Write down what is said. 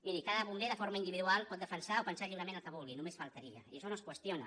miri cada bomber de forma individual pot defensar o pensar lliurement el que vulgui només faltaria i això no és qüestiona